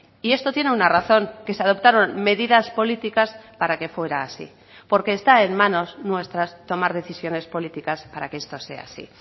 y esto tiene una razón que se adoptaron medidas políticas para que fuera así porque está en manos nuestras tomar decisiones políticas para que esto sea así